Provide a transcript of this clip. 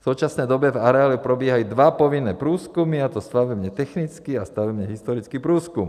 V současné době v areálu probíhají dva povinné průzkumy, a to stavebně technický a stavebně historický průzkum.